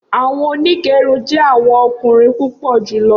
Awọn onigerun jẹ awọn ọkunrin pupọ julọ